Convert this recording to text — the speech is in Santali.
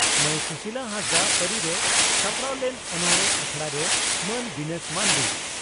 ᱢᱟᱹᱭ ᱥᱩᱥᱤᱞᱟ ᱦᱟᱸᱥᱫᱟᱜ ᱛᱟᱹᱨᱤᱨᱮ ᱥᱟᱯᱲᱟᱣ ᱞᱮᱱ ᱚᱱᱚᱬᱦᱮ ᱟᱠᱷᱲᱟᱨᱮ ᱢᱟᱹᱱ ᱫᱤᱱᱮᱥ ᱢᱟᱱᱰᱤ